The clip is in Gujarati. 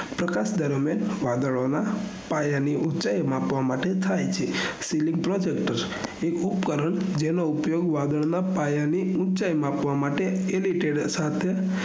પ્રકાશ દરમિયાન વાદળોના પાયાની ઉચાઇ માપવા માટે થાય છે સીલીગ્વ તત્વસ એક ઉપકરણ જેનો ઉપયોગ વાદળોના પાયાની ઉચાઇ માપવા માટે એરીથન સાઘન